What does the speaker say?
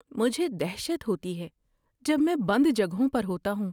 مجھے دہشت ہوتی ہے جب میں بند جگہوں پر ہوتا ہوں۔